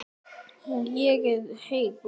Er agaleysi hjá liðinu?